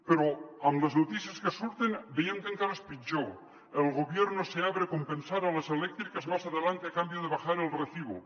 però amb les notícies que surten veiem que encara és pitjor el gobierno se abre a compensar a las eléctricas más adelante a cambio de bajar el recibo